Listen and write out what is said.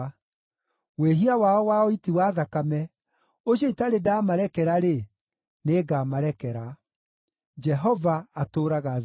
Wĩhia wao wa ũiti wa thakame, ũcio itarĩ ndaamarekera-rĩ, nĩngamarekera.” Jehova atũũraga Zayuni!